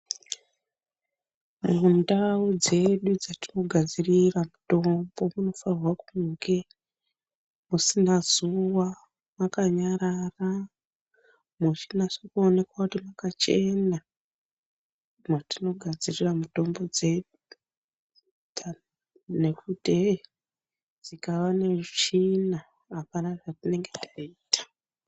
Mundau dzedu dzetinogadzirira mutombo munofanirwa kunge musina zuva makanyarara muchinase kuoneka kuti makachena. Mwatinogadzirira mitombo dzedu nekuti hei dzikava netsvina hapana zvatinenge taita.